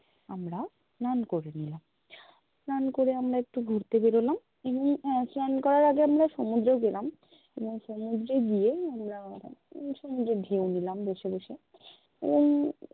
আমরা স্নান করে নিলাম স্নান করে আমরা একটু ঘুরতে বেরোলাম এমনি আহ স্নান করার আগে আমরা সমুদ্রে গেলাম এবং সমুদ্রে গিয়ে আমরা সমুদ্রের view নিলাম বসে-বসে এবং